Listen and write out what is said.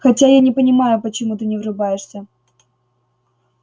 хотя я не понимаю почему ты не врубаешься